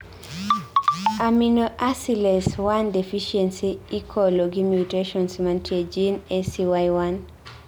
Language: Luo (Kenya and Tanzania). Aminoacylase 1 deficiency ikolo gi mutations mantie gene ACY1